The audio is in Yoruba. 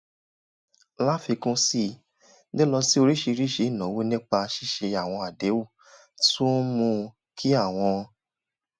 láfikún sí i lílọ sí oríṣiríṣi ìnáwó nípa ṣíṣe àwọn àdéhùn tún ń mú kí àwọn